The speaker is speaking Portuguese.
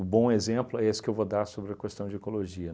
bom exemplo é esse que eu vou dar sobre a questão de ecologia.